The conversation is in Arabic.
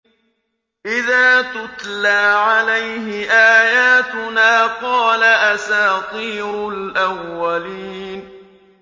إِذَا تُتْلَىٰ عَلَيْهِ آيَاتُنَا قَالَ أَسَاطِيرُ الْأَوَّلِينَ